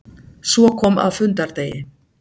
Svo kom að fundardegi.